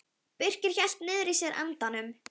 Birkir hélt niðri í sér andanum.